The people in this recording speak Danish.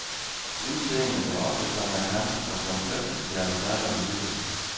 Udseendet er ofte så markant, at man fristes til at tale om lighed.